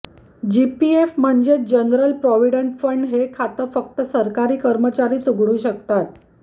GPF म्हणजेच general provident fund हे खातं फक्त सरकारी कर्मचारीच उघडू शकतात